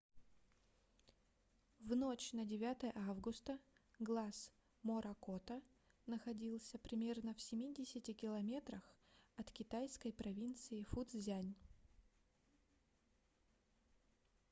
в ночь на 9 августа глаз моракота находился примерно в семидесяти километрах от китайской провинции фуцзянь